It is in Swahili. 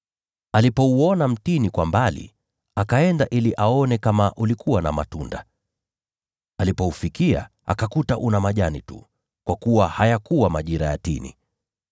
Akauona mtini kwa mbali, naye akaenda ili aone kama ulikuwa na matunda. Alipoufikia, akakuta una majani tu, kwa kuwa hayakuwa majira ya tini.